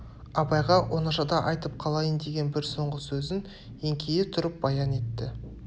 абайға оңашада айтып қалайын деген бір соңғы сөзін еңкейе тұрып баян етті